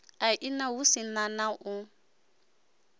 aini hu si na u